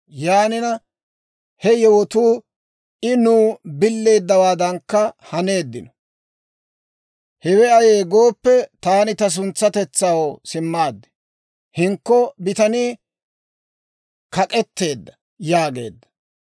Yaanina he yewotuu I nuw billeeddawaadankka haneeddino. Hewe ayee gooppe, taani ta suntsatetsaw simmaad; hinkko bitanii kak'etteedda» yaageedda.